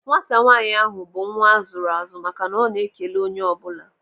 Nwata nwaanyị ahụ bụ nwa azụrụ azụ maka na ọ na-ekele onye ọ bụla.